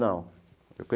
Não.